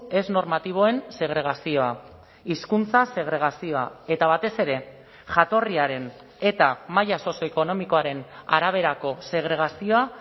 ez normatiboen segregazioa hizkuntza segregazioa eta batez ere jatorriaren eta maila sozioekonomikoaren araberako segregazioa